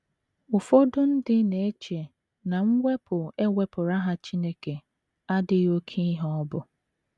Ụfọdụ ndị na - eche na mwepụ e wepụrụ aha Chineke adịghị oké ihe ọ bụ.